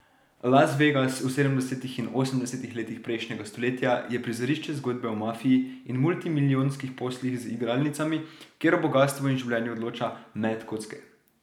Las Vegas v sedemdesetih in osemdesetih letih prejšnjega stoletja je prizorišče zgodbe o mafiji in multimilijonskih poslih z igralnicami, kjer o bogastvu in življenju odloča met kocke.